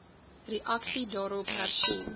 reaksie daarop hersien